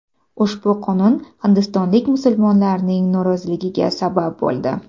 Ushbu qonun hindistonlik musulmonlarning noroziligiga sabab bo‘ldi.